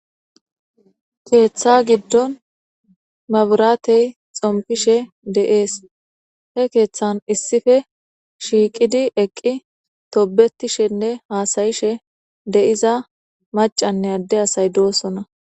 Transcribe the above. Keeththa giddon maburatey xompishe deees he keeththan issife shiiqidi eqqi tobetishenne haasayishe de7iza macanne adde asay doosona.